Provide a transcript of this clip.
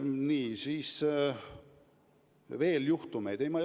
Nii, kas on veel juhtumeid?